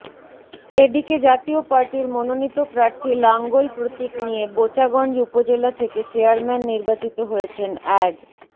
এদিকে জাতীয় পার্টির মনোনীত প্রার্থী লাঙ্গল প্রতীক নিয়ে বোচাগঞ্জ উপজেলা থেকে চেয়ারম্যান নির্বাচিত হয়েছেন অ্যাড